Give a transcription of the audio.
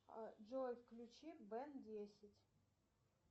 джой включи бэн десять